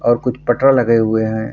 और कुछ पटरा लगे हुए हैं।